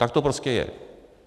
Tak to prostě je.